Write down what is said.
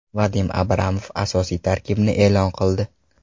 Vadim Abramov asosiy tarkibni e’lon qildi.